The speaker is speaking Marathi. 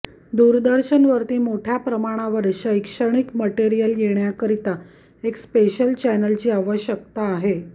दूरदर्शनवरती मोठ्या प्रमाणावर शैक्षणिक मटेरियल येण्याकरीता एक स्पेशल चॅनलची आवश्यकता आहे